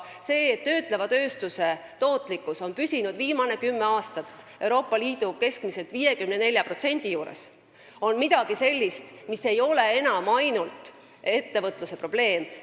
See, et töötleva tööstuse tootlikkus on viimased kümme aastat püsinud 54% juures Euroopa Liidu keskmisest, on midagi sellist, mis ei ole enam ainult ettevõtluse probleem.